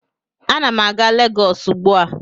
Ana m a-ga Legọs ugbu a